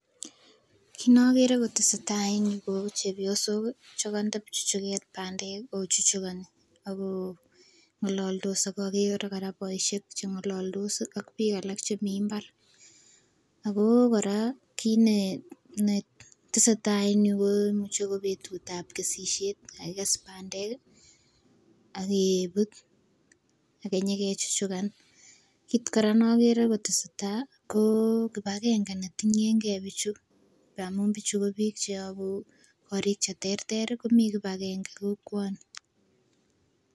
Kit nokere kotesetai en yuu ko chepyosoki chekonde pchuchuket pandek kii ak kochuchukoni akoo ngololdos ak okere Koraa boishek chengololdos ak bik alak chemii imbar ako Koraa kit netesetai en yuu ko muche ko betut tab kesishet kakikes pandek kii akee but akenyokechuchukan. Kit Koraa nokere kotesetai koo kipakenge netinyengee bichu ngamun bichu ko bik check korik cheterteri komii kipakenge kokwoni.